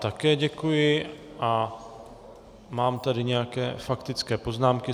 Také děkuji a mám tady nějaké faktické poznámky.